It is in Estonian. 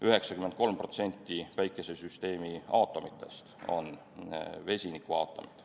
93% Päikesesüsteemi aatomitest on vesinikuaatomid.